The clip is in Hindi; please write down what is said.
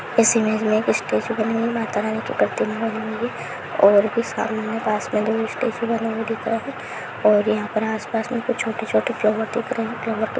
इस इमेज में एक स्टेचू बनी हुई है माता रानी की प्रतिमा बनी हुई है और भी सामने पास में दो स्टेचू बना हुआ दिख रहा है और यहाँ पर आस पास में कुछ छोटे-छोटे फ्लावर दिख रहे है कुछ फ्लाउअर --